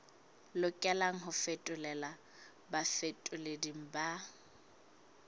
lokelang ho fetolelwa bafetoleding ba